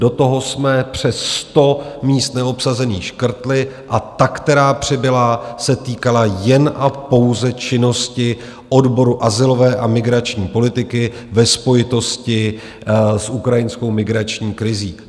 Do toho jsme přes 100 míst neobsazených škrtli a ta, která přibyla, se týkala jen a pouze činnosti odboru azylové a migrační politiky ve spojitosti s ukrajinskou migrační krizí.